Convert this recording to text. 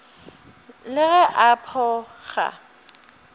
le ge a pho ga